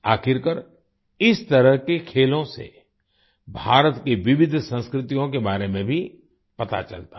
आखिरकार इस तरह के खेलों से भारत की विविध संस्कृतियों के बारे में भी पता चलता है